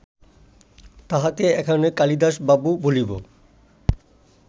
তাঁহাকে এখানে কালিদাসবাবু বলিব